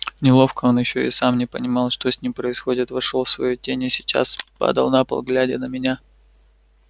неловко он ещё и сам не понимал что с ним происходит вошёл в свою тень и сейчас падал на пол глядя на меня